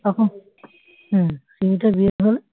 তখন হ্যাঁ সিমিটার বিয়ে হলে